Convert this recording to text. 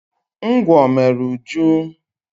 Ngwọ mere Uju.